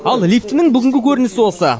ал лифтінің бүгінгі көрінісі осы